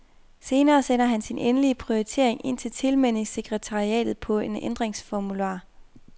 Senere sender han sin endelige prioritering ind til tilmeldingssekretariatet på en ændringsformular.